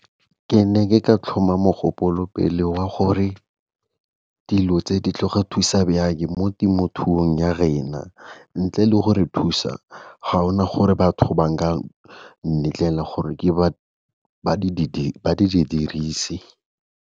Ke ne ke ka tlhoma mogopolo pele wa gore dilo tse di tlore thusa jang mo temothuong ya rena, ntle le gore thusa ga gona gore batho ba ka nletlela gore di dirise.